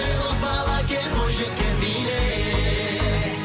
ей боз бала кел бойжеткен биле